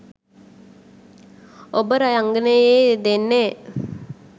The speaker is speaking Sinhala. ඔබ රංගනයේ යෙදෙන්නේ